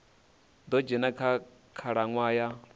ḓo dzhena kha khalaṅwaha ya